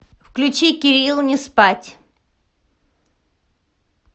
включи керил не спать